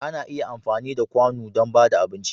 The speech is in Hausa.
Ana iya amfani da da kwanu dan bada abinci.